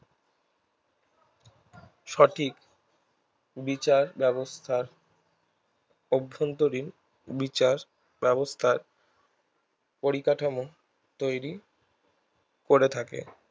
সঠিক বিচার ব্যাবস্থার অভ্যন্তরীন বিচার ব্যাবস্থার পরিকাঠামো তৈরী করে থাকে